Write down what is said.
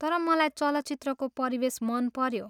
तर मलाई चलचित्रको परिवेश मनपऱ्यो।